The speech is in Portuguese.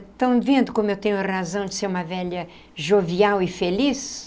Estão vendo como eu tenho razão de ser uma velha jovial e feliz?